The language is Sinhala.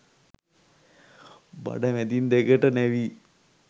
බඩ මැදින් දෙකට නැවී